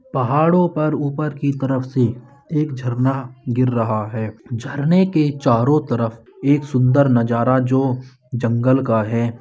पहाड़ो पर ऊपर की तरफ से एक झरना गिर रहा है झरने के चारो तरफ एक सुन्दर नजारा जो जंगल का है।